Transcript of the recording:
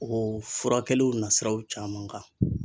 O furakɛliw nasiraw caman kan